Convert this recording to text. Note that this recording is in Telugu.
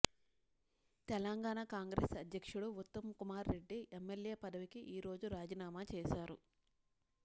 తెలంగాణ కాంగ్రెస్ అధ్యక్షుడు ఉత్తమ్కుమార్రెడ్డి ఎమ్మెల్యే పదవికి ఈ రోజు రాజీనామా చేశారు